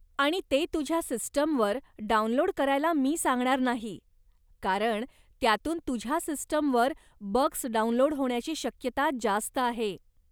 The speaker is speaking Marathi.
आणि ते तुझ्या सिस्टमवर डाउनलोड करायला मी सांगणार नाही कारण त्यातून तुझ्या सिस्टमवर बग्स डाउनलोड होण्याची शक्यता जास्त आहे.